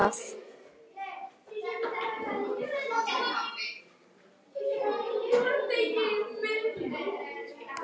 Ekki veit ég það.